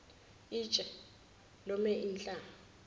itshe lome inhlama